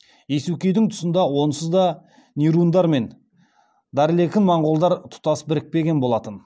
иесукейдің тұсында онсызда нирундар мен дарлекін моңғолдар тұтас бірікпеген болатын